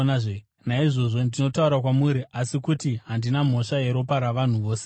Naizvozvo ndinotaura kwamuri nhasi kuti handina mhosva yeropa ravanhu vose.